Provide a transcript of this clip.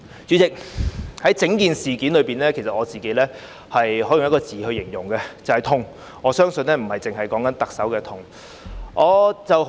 主席，對於整件事，我只能以一個字形容，就是"痛"，而我相信不只是特首的痛。